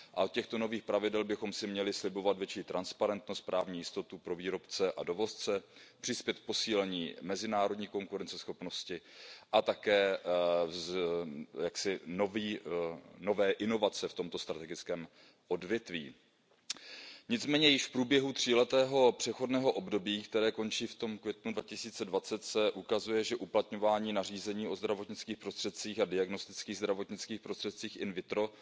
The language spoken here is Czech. A od těchto nových pravidel bychom si měli slibovat větší transparentnost, právní jistotu pro výrobce a dovozce, posílení mezinárodní konkurenceschopnosti a také nové inovace v tomto strategickém odvětví. Nicméně, již v průběhu tříletého přechodného období, které končí v květnu 2020, se ukazuje, že uplatňování nařízení o zdravotnických prostředcích a diagnostických zdravotnických prostředcích in vitro